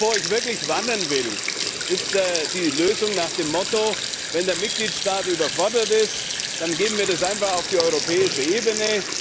Wovor ich wirklich warnen will, ist die Lösung nach dem Motto Wenn der Mitgliedstaat überfordert ist, dann geben wir das einfach auf die europäische Ebene.